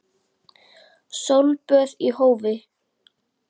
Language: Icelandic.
Sólböð í hófi.